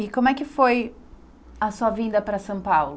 E como é que foi a sua vinda para São Paulo?